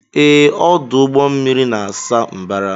Ee, ọdụ ụgbọ mmiri na-asa mbara.